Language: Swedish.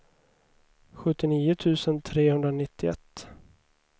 sjuttionio tusen trehundranittioett